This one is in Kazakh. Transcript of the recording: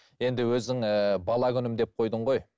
енді өзің ііі бала күнім деп қойдың ғой